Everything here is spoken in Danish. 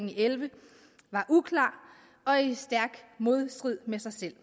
og elleve var uklar og i stærk modstrid med sig selv